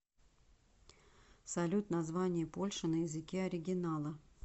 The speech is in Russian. салют название польша на языке оригинала